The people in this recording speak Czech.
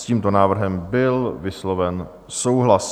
S tímto návrhem byl vysloven souhlas.